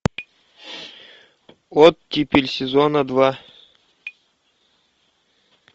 оттепель сезона два